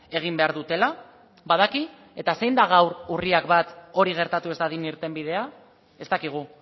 egin behar dutela badaki eta zein da gaur urriak bat hori gertatu ez dadin irtenbidea ez dakigu